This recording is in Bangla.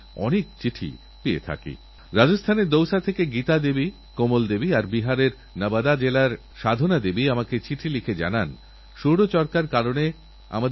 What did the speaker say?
আমাদেরকাছে যদি শক্তিশালী এবং উন্নতমানের গবেষণাগার থাকে তাহলে আবিষ্কারের জন্য নতুনউদ্যোগের জন্য তাকে কাজ লাগানোর জন্য তাকে এক নিশ্চিত লক্ষ্যে পৌঁছে দেওয়ার জন্যএক পরিকাঠামো তৈরি হয়